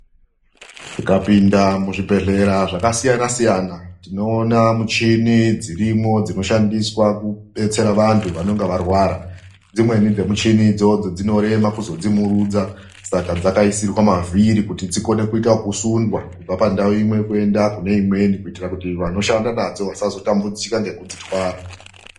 Tikapinda muzvibhehlera zvikasiyana siyana, tinoona michini dzirimo dzinoshandiswa kubetsera vantu vanonga varwara. Dzimweni dzemichini idzodzo dzinorema kuzodzimirudza, saka dzakaisirwa mavhiri kuti dzikone kuitwa ekusundwa kubva pandau imwe kuenda kuneimweni, kuitira kuti vanoshanda nadzo vasazotambidzika ngekudzitwara.